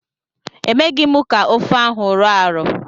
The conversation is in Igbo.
Emeghi m ka ofe ahụ rọọ arọọ.